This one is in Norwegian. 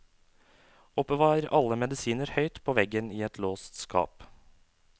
Oppbevar alle medisiner høyt på veggen i et låst skap.